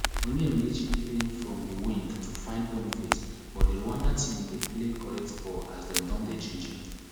onyemachi playing from di wing to find boniface but di rwanda team dey play correct ball as dem don dey ginger